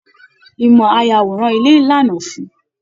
Ìmọ ayàwòrán ilé lànà fún-ùn.